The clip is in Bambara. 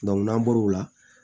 n'an bɔr'o la